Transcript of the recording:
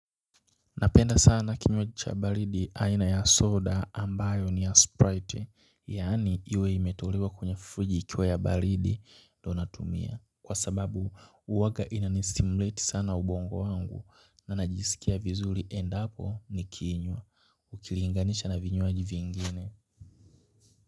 Napenda sana kinywaji cha baridi aina ya soda ambayo ni ya sprite yaani iwe imetolewa kwenye friji ikiwa ya baridi ndo natumia kwa sababu huwaga inanistimuleti sana ubongo wangu na najisikia vizuri endapo nikiinywa ukiilinganisha na vinywaji vingine.